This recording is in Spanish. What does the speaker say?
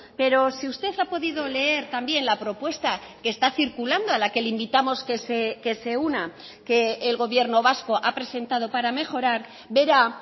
pero si usted ha podido leer también la propuesta que está circulando a la que le invitamos que se una que el gobierno vasco ha presentado para mejorar verá